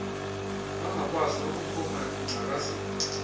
bangakwazi nokuphuma ekungcakazeni